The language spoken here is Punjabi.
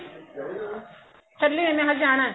ਚੱਲੀ ਆਂ ਹਜੇ ਜਾਣਾ